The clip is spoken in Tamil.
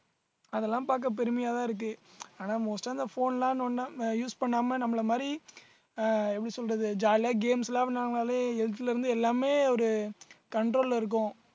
அதெல்லாம் பாக்க பெருமையா தான் இருக்கு ஆனா most ஆ அந்த phone ல நோண்டாம use பண்ணாம நம்மள மாதிரி அஹ் எப்படி சொல்றது jolly ஆ games விளையாடுனாலே health ல இருந்து எல்லாமே ஒரு control ல இருக்கும்